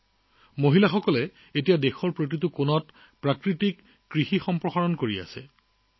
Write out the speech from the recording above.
দেশৰ চুকেকোণে মহিলাসকলে এতিয়া জৈৱিক কৃষিকাৰ্যক প্ৰসাৰৰ চেষ্টা কৰিছে